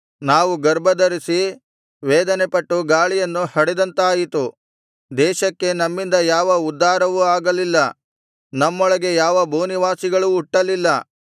ನಾವು ಗರ್ಭಧರಿಸಿ ವೇದನೆಪಟ್ಟು ಗಾಳಿಯನ್ನು ಹಡೆದಂತಾಯಿತು ದೇಶಕ್ಕೆ ನಮ್ಮಿಂದ ಯಾವ ಉದ್ಧಾರವೂ ಆಗಲಿಲ್ಲ ನಮ್ಮೊಳಗೆ ಯಾವ ಭೂನಿವಾಸಿಗಳೂ ಹುಟ್ಟಲಿಲ್ಲ